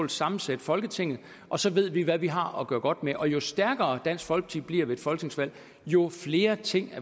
sammensætte folketinget og så ved vi hvad vi har at gøre godt med jo jo stærkere dansk folkeparti bliver ved et folketingsvalg jo flere ting